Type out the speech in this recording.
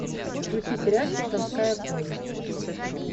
включи сериальчик донская повесть